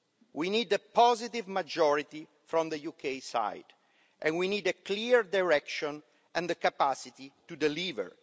We need a positive majority from the UK side, and we need a clear direction and the capacity to deliver.